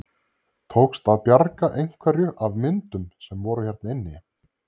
Tókst að bjarga einhverju af myndum sem voru hérna inni?